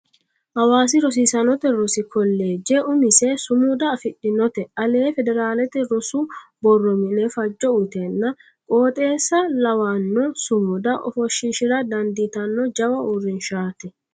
Hawaasi rosiisaanote rosi kolleeje umise sumuda afidhinote ale federalete rosu borro mini fajo uyitenna qooxeessa lawano sumuda ofoshishira dandiittano jawa uurrinshati.